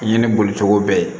Ɲɛnɛ boli cogo bɛɛ ye